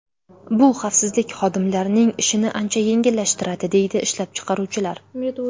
Bu xavfsizlik xodimlarining ishini ancha yengillashtiradi”, deydi ishlab chiqaruvchilar.